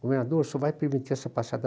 Governador, o senhor vai permitir essa passeata?